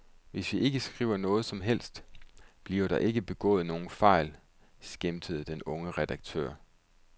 Hvis vi ikke skriver noget som helst, bliver der ikke begået nogen fejl, skæmtede den unge redaktør.